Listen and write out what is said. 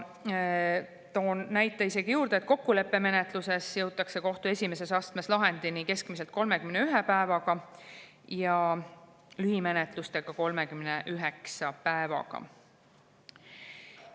Toon isegi näite juurde: kokkuleppemenetluse puhul kohtu esimeses astmes jõutakse lahendini keskmiselt 31 päevaga ja lühimenetluse puhul 39 päevaga.